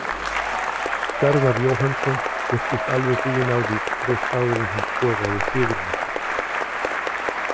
Garðar Jóhannsson virtist alveg búinn á því rétt áður en hann skoraði sigurmarkið.